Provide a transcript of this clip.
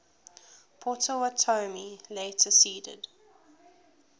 potawatomi later ceded